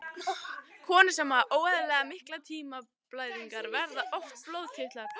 Konur sem hafa óeðlilega miklar tíðablæðingar, verða oft blóðlitlar.